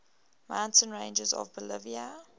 mountain ranges of bolivia